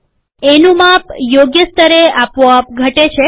એનું માપ યોગ્ય સ્તરે આપોઆપ ઘટે છે